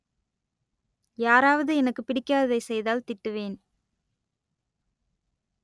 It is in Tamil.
யாராவது எனக்குப் பிடிக்காததை செய்தால் திட்டுவேன்